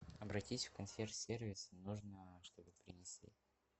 обратись в консьерж сервис нужно чтобы принесли